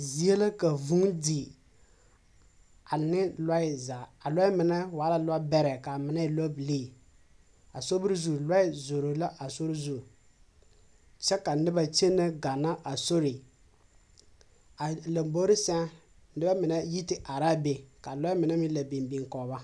Zie la ka vũũ di, ane lɔɛ zaa. A lɔɛ menɛ waa la lɔbɛrɛ kaa mine e lɔbilii. A sobiri zu lɔɛ zoro la a sori zu, kyɛ ka noba kyene ganna a sori. A lambori sɛŋ nebɛ menɛ yi te are laa be ka a lɔɛ menɛ meŋ la biŋ biŋ kɔge ba.